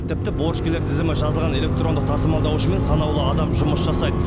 тіпті борышкерлер тізімі жазылған электрондық тасымалдаушымен санаулы адам жұмыс жасайды